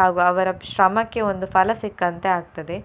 ಹಾಗೂ ಅವ್ರ ಶ್ರಮಕ್ಕೆ ಒಂದು ಫಲ ಸಿಕ್ಕಂತೆ ಆಗ್ತದೆ.